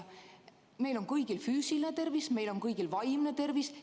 Meil on kõigil füüsiline tervis, meil on kõigil vaimne tervis.